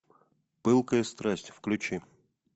пылкая страсть включи